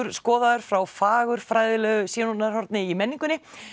skoðaður frá fagurfræðilegu sjónarhorni í menningunni